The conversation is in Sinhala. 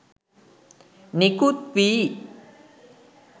නිකුත් වී